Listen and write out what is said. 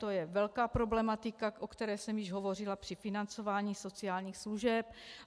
To je velká problematika, o které jsem již hovořila při financování sociálních služeb.